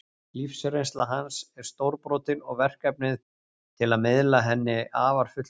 Lífsreynsla hans er stórbrotin og verkfærið til að miðla henni afar fullkomið.